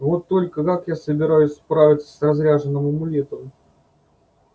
вот только как я собираюсь справиться с разряженным амулетом